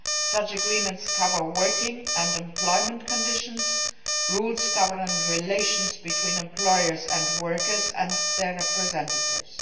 Such agreements cover working and employment conditions and rules governing relations between employers and workers and their representatives.